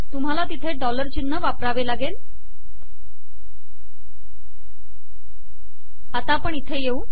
तुम्हाला तिथे डॉलर चिन्ह वापरावे लागते